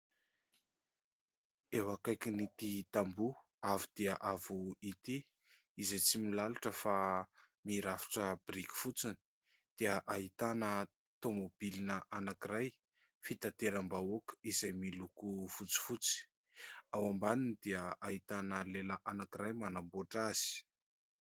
Eo akaikin'ity tamboho avo dia avo ity izay tsy milalotra fa mirafitra biriky fotsiny dia ahitana taomobilina anankiray fitanteram-bahoaka izay miloko fotsifotsy. Ao ambaniny dia ahitana lehilahy anankiray manamboatra azy.